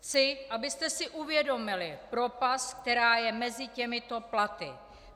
Chci, abyste si uvědomili propast, která je mezi těmito platy.